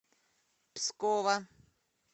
пскова